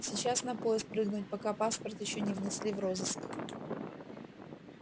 сейчас на поезд прыгнуть пока паспорт ещё не внесли в розыск